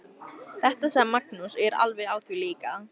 Þetta sagði Magnús og ég er alveg á því líka.